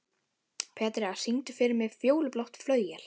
Petrea, syngdu fyrir mig „Fjólublátt flauel“.